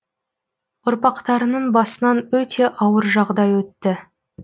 ұрпақтарының басынан өте ауыр жағдай өтті